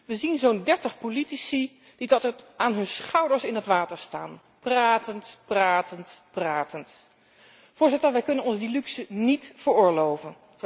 We zien zo'n 30 politici die tot aan hun schouders in het water staan, pratend, pratend, pratend. Wij kunnen ons die luxe niet veroorloven.